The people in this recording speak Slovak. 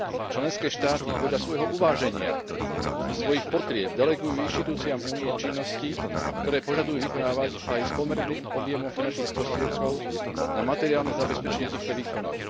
Členské štáty podľa svojho uváženia a svojich potrieb delegujú inštitúciám Únie činnosti, ktoré požadujú vykonávať aj s pomerným objemom finančných prostriedkov na materiálne zabezpečenie týchto výkonov.